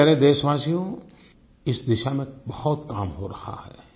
मेरे प्यारे देशवासियो इस दिशा में बहुत काम हो रहा है